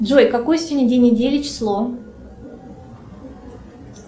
джой какой сегодня день недели число